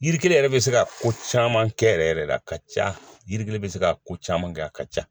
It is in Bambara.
Yiri kelen yɛrɛ bɛ se ka ko caman kɛ yɛrɛ yɛrɛ le a ka ca yiri kelen bɛ se ka ko caman kɛ a ka ca.